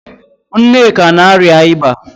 Nneka na-arịa ịba